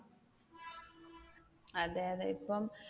അതെ അതെ ഇപ്പം